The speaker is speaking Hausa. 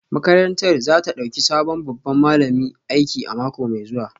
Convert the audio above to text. Makarantar za ta dauki sabon babban malami aiki a mako mai zuwa